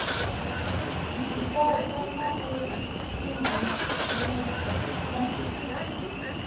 zwipotso na u imvumusa kha